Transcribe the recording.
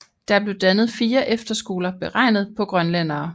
Der blev dannet fire efterskoler beregnet på grønlændere